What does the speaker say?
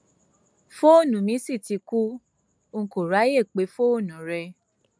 fóònù mi sì ti kú n kò ráàyè pé fóònù rẹ